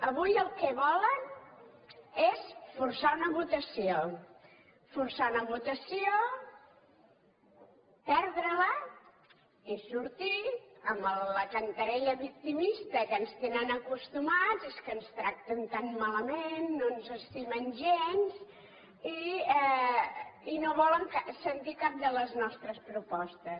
avui el que volen és forçar una votació forçar una votació perdre la i sortir amb la cantarella victimista a què ens tenen acostumats és que ens tracten tan malament no ens estimen gens i no volen sentir cap de les nostres propostes